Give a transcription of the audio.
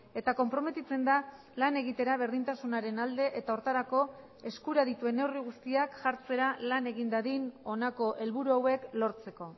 eta konprometitzen da lan egitera berdintasunaren alde eta horretarako eskura dituen neurri guztiak jartzera lan egin dadin honako helburu hauek lortzeko